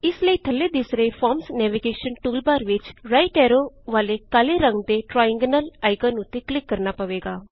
ਇਸ ਲਈ ਥੱਲੇ ਦਿਸ ਰਹੇ ਫੋਰਮਜ਼ ਨੈਵੀਗੇਸ਼ਨ ਟੂਲਬਾਰ ਵਿਚ ਰਾਈਟ ਐਰੋ ਵਾਲੇ ਕਾਲੇ ਰੰਗ ਦੇ ਟ੍ਰਾਇਐਨਗਲ ਆਇਕਨ ਉੱਤੇ ਕਲਿਕ ਕਰਨਾ ਪਵੇਗਾ